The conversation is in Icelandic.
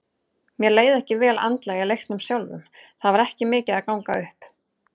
Mér leið ekki vel andlega í leiknum sjálfum, það var ekki mikið að ganga upp.